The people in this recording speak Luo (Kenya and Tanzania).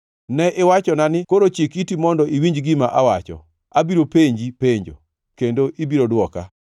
“Ne iwachona ni, ‘Koro chik iti mondo iwinj gima awacho; abiro penji penjo, kendo ibiro dwoka.’